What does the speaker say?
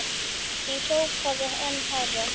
Ég hrópaði enn hærra.